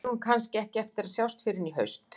Við eigum kannski ekki eftir að sjást fyrr en í haust.